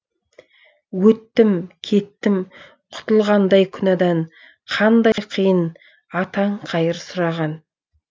өттім кеттім құтылғандай күнәдан қандай қиын атаң қайыр сұраған